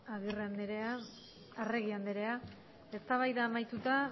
arregi andrea eztabaida amaituta